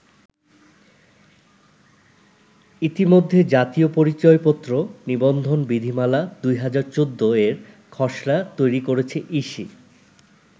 ইতিমধ্যে জাতীয় পরিচয়পত্র নিবন্ধন বিধিমালা-২০১৪ এর খসড়া তৈরি করেছে ইসি।